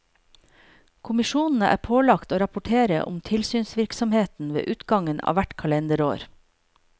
Kommisjonene er pålagt å rapportere om tilsynsvirksomheten ved utgangen av hvert kalenderår.